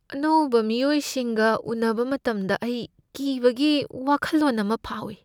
ꯑꯅꯧꯕ ꯃꯤꯑꯣꯏꯁꯤꯡꯒ ꯎꯅꯕ ꯃꯇꯝꯗ ꯑꯩ ꯀꯤꯕꯒꯤ ꯋꯥꯈꯜꯂꯣꯟ ꯑꯃ ꯐꯥꯎꯏ ꯫